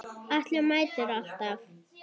Atli mætti alltaf.